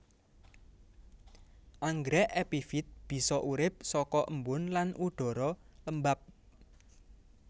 Anggrèk epifit bisa urip saka embun lan udhara lembab